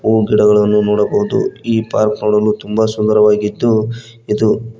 ಹೂ ಗಿಡಗಳನ್ನು ನೋಡಬಹುದು ಈ ಪಾರ್ಕ್ ನೋಡಲು ತುಂಬ ಸುಂದರವಾಗಿದ್ದು ಇದು--